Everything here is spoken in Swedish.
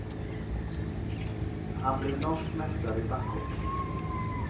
Han blev norsk mästare i backhoppning.